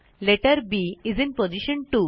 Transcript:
letter B is in position 2